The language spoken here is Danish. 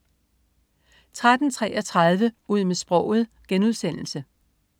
13.33 Ud med sproget*